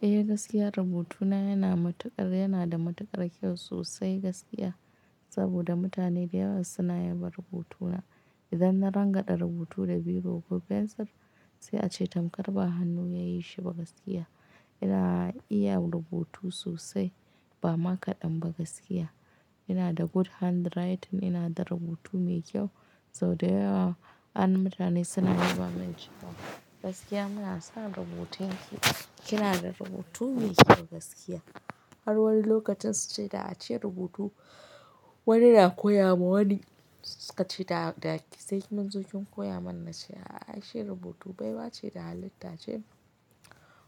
Eh gaskiya rubutuna yana da matuƙar kyau sosai gaskiya. Saboda mutane da yawa suna yaba rubutuna. Idan na rangada rubutu da biro ko fensir sai a ce tamkar ba hannu ya yi shi ba gaskiya. Ina iya rubutu sosai ba makaɗan ba gaskiya. Ina da good handwriting, ina da rubutu mai kyau sau da yawa an mutane suna yaba min cewa gaskiya muna son rubutun ki. Kina da rubutu mai kyau gaskiya. Har wani lokacin su ce da a ce rubutu wani na koya ma wani suka ce da sai munzo ki koya mana cewa ai shi rubutu baiwa ce da halitta ce.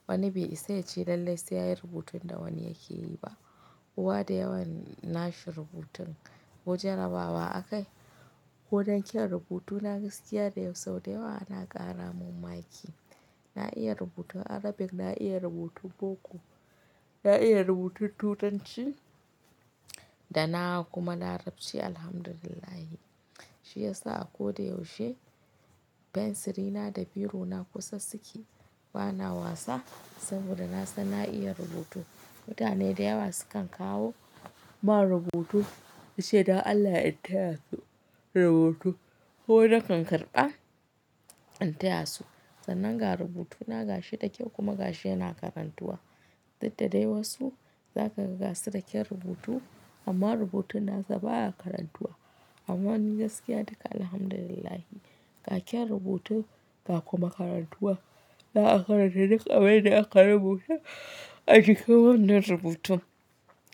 Wani bai isa yace lallai sai yayi rubutun da wani yake yi ba kowa da yawan na shi rubutun ko jarabawa akai. Ko dan kyan rubutu na gaskiya da yawa sau da yawa ana ƙara mun ma'aiki. Na iya rubutun Arabic, na iya rubutun boko, na iya rubutun Turanci da na kuma Larabci. Alhamdulillah. Shi ya sa a ko da yaushe fensiri na da biro na kusa suke. Ba na wasa saboda na san na iya rubutu. Mutane da yawa su kan kawo mun rubutu suce dan Allah in taya su rubutu, kuma nakan karba in taya su, sannan ga rubutu na gashi da kyau kuma gashi yana karantuwa Didda dai wasu za kaga gasu da kyan rubutu amma rubutun nasu baya karantuwa. Amma ni gaskiya duka alhamdulillah ga kyan rubutu ga kuma karantuwa. Za'a karanta duk abin da aka rubuta a jikin wannan rubutun.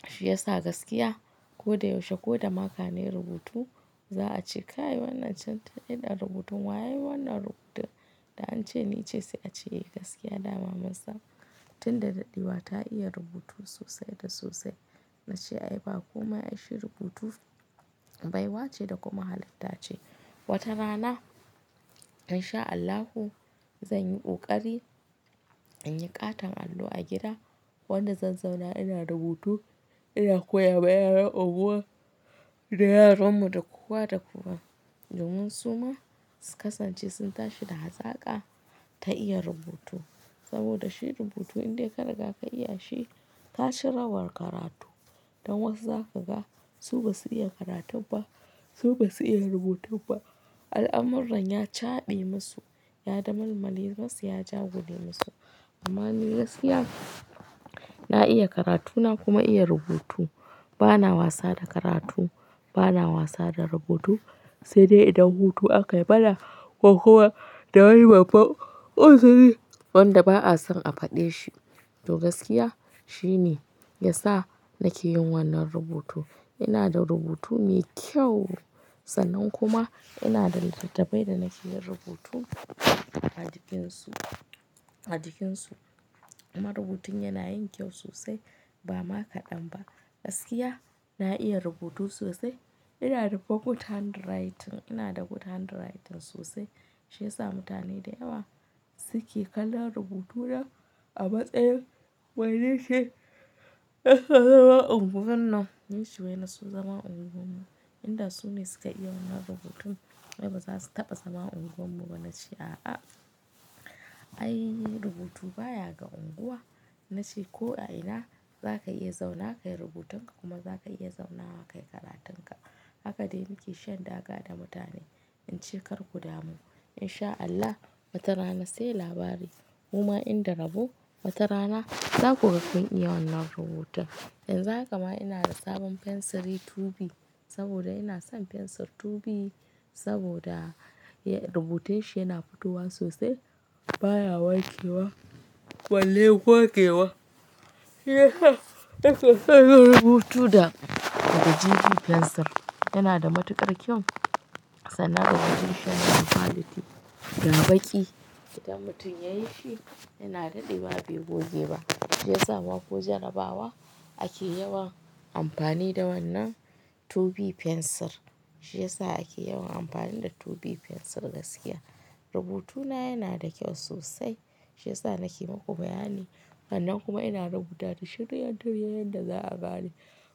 Shi ya sa gaskiya ko da yaushe ko da maka nai rubutu za a ce ka yi wannan can idan rubutun wa ya yi wannan rubutun da an ce ni ce sai a ce gaskiya dama masa. Tun da daɗewa ta iya rubutu sosai da sosai. Na ce ai ba komai ai shi rubutu baiwa ce da kuma halitta ce. Wata rana in sha Allahu zan yi ƙoƙari in yi ƙaton allo a gida. Wanda zan zauna ina rubutu ina koya ma yaran unguwa da yaran mu da kowa da kowa domin su ma su kasance sun tashi da hazaƙa ta iya rubutu. Saboda shi rubutu indai kariga ka iya shi ka ci rawar karatu. Don wasu zaka ga su basu iya karatun ba su basu iya rubutun ba, al'amurran ya cabe musu ya damalmale musu ya jagule musu amma ni gaskiya na iya karatu na kuma iya rubutu. Ba na wasa da karatu, ba na wasa da rubutu sai dai idan hutu aka yi bana ko kuwa da wani babba oziri wanda ba'a son a faɗe shi. To gaskiya shi ne ya sa nake yin wannan rubutu. Ina da rubutu mai kyau sannan kuma ina da littattafai da nake yin rubutu a cikin su, a cikin su. Amma rubutun yana yin kyau sosai ba makaɗan ba. Gaskiya na iya rubutu sosai. Ina da fa good handwriting, ina da good handwriting sosai. Shi ya sa mutane da yawa suke kallon rubutuna a matsayin wane shi zama unguwar nan. Yi shi wai na so zama unguwar mu. Inda su ne su ka iya wannan rubutun wai ba za su taɓa zama unguwar mu ba. Na ce a'a. Ai rubutu baya ga unguwa. Na ce ko a ina za ka iya zauna ka yi rubutun ka kuma za ka iya zauna ka yi karatun ka. Haka dai muke shan daga da mutane. In ce kar ku damu in sha Allah wata rana sai labari. Kuma in da rabo wata rana za ku ga kun iya wannan rubutun. Yanzu a kama ina da sabon fensiri 2B saboda ina son fensir 2B saboda rubutai shi yana fitowa sosai baya wankewa balle gogewa. Rubutu da 2B fensir yana da matuƙar kyau sannan rubutun shi ga quality ga baki, idan mutum yayi shi, yana dadewa bai goge ba, shiyasa ma ko jarabawa ake yawan amfani da wannan 2B fensir. Shi ya sa ake yawan amfani da 2B fensir gaskiya. Rubutu na yana da kyau sosai, shiyasa nake muku bayani, sannan kuma ina rubuta shi tiryan tiryan yadda za'a gane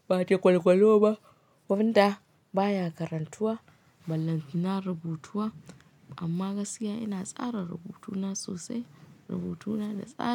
ba jagwalgwalo ba wanda baya karantuwa Ballantana rubutuwa amma gaskiya ina tsara rubutuna sosai. Rubutuna da tsari.